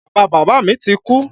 Bàba bàbá mi ti kú.